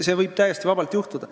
See võib täiesti vabalt juhtuda.